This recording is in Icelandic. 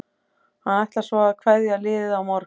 Hann ætlar svo að kveðja liðið á morgun.